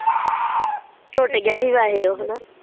ਟੁੱਟ ਗਿਆ ਸੀ ਵੈਸੇ ਉਹ ਹੇਨਾ।